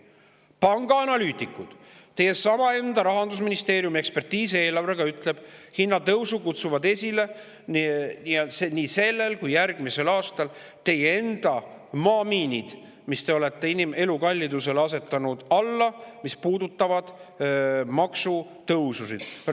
Pangaanalüütikud ja teie enda Rahandusministeeriumi ekspertiis eelarve kohta ütlevad, et hinnatõusu kutsuvad nii sellel kui ka järgmisel aastal esile teie enda maamiinid, mille te olete elukalliduse alla asetanud ja mis puudutavad maksutõususid.